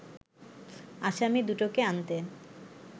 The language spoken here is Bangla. আসামী দুটোকে আনতে